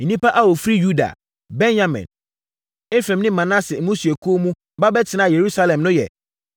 Nnipa a wɔfiri Yuda, Benyamin, Efraim ne Manase mmusuakuo mu ba bɛtenaa Yerusalem no yɛ: